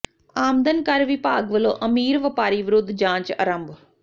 ਆਮਦਨ ਕਰ ਵਿਭਾਗ ਵੱਲੋਂ ਅਮੀਰ ਵਪਾਰੀ ਵਿਰੁੱਧ ਜਾਂਚ ਆਰੰਭ